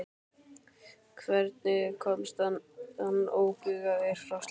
Hvernig komst hann óbugaður frá slíku?